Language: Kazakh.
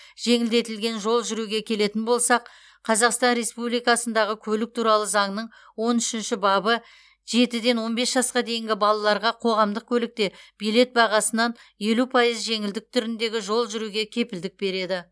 жеңілдетілген жол жүруге келетін болсақ қазақстан республикасындағы көлік туралы заңның он үшінші бабы жетіден он бес жасқа дейінгі балаларға қоғамдық көлікте билет бағасынан елу пайыз жеңілдік түріндегі жол жүруге кепілдік береді